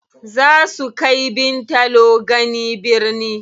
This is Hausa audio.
Zaa su kai Bintalo gani birni.